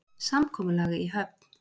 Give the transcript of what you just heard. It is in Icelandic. Samkomulag í höfn